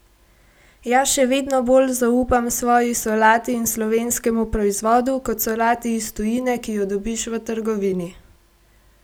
Jaz še vedno bolj zaupam svoji solati in slovenskemu proizvodu, kot solati iz tujine, ki jo dobiš v trgovini!